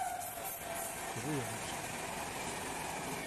Vujović?